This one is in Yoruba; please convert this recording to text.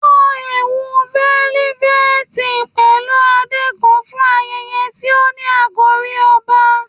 Wọ ẹwu felifeti pẹlu ade kan fun ayẹyẹ ti o ni akori ọba